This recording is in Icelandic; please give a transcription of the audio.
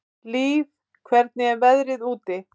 Líf, hvernig er veðrið úti?